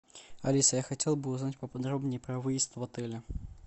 алиса я хотел бы узнать поподробнее про выезд в отеле